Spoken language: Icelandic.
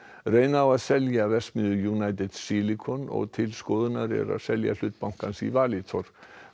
reyna á að selja verksmiðju United Silicon og til skoðunar er að selja hlut bankans í Valitor